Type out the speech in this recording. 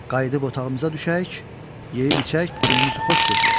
Qayıdıb otağımıza düşək, yeyib-içək, günümüzü xoş keçirək.